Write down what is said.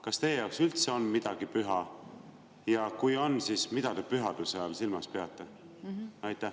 Kas teie jaoks üldse on midagi püha ja kui on, siis mida te pühaduse all silmas peate?